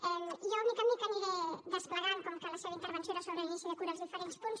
jo de mica en mica aniré desplegant com que la seva intervenció era sobre l’inici de curs els diferents punts